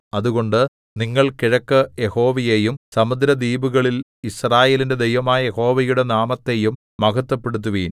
അതുകൊണ്ട് നിങ്ങൾ കിഴക്ക് യഹോവയെയും സമുദ്രദ്വീപികളില്‍ യിസ്രായേലിന്റെ ദൈവമായ യഹോവയുടെ നാമത്തെയും മഹത്ത്വപ്പെടുത്തുവിൻ